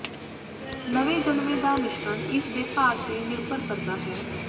ਨਵੇਂ ਜਨਮੇ ਦਾ ਮਿਸ਼ਰਣ ਇਸ ਦੇ ਭਾਰ ਤੇ ਨਿਰਭਰ ਕਰਦਾ ਹੈ